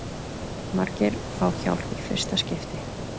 Margir fá hjálp í fyrsta skipti